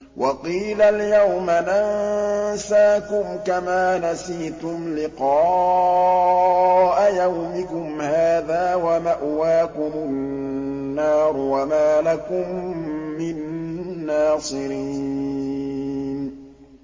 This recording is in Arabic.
وَقِيلَ الْيَوْمَ نَنسَاكُمْ كَمَا نَسِيتُمْ لِقَاءَ يَوْمِكُمْ هَٰذَا وَمَأْوَاكُمُ النَّارُ وَمَا لَكُم مِّن نَّاصِرِينَ